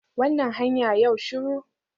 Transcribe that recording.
Wannan hanya yau shiru